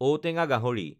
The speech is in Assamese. ঔটেঙা গাহৰি